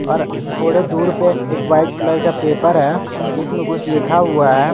और थोड़े दूर पर एक वाइट कलर का पेपर है जिसमें कुछ लिखा हुआ है।